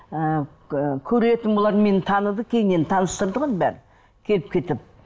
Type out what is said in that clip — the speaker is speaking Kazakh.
ы көретін бұлар мені таныды кейіннен таныстырды ғой бәрін келіп кетіп